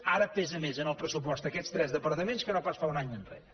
ara pesen més en el pressupost aquests tres departaments que no pas fa un any enrere